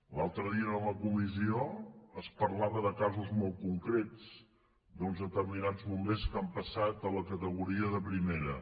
l’altre dia en la comissió es parlava de casos molt concrets d’uns determinats bombers que han passat a la categoria de primera